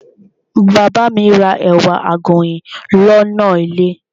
Bàbá ma ra ẹ̀wà àgànyìn lọ́nà ilé.